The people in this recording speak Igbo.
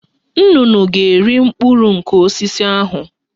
Nnụnụ ga- eri mkpụrụ nke osisi ahụ